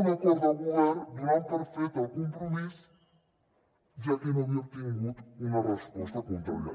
un acord de govern donant per fet el compromís ja que no havia obtingut una resposta contrària